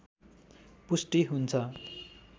पुष्टि हुन्छ